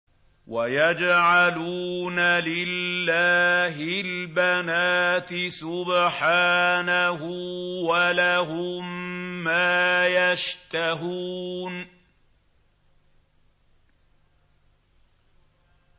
وَيَجْعَلُونَ لِلَّهِ الْبَنَاتِ سُبْحَانَهُ ۙ وَلَهُم مَّا يَشْتَهُونَ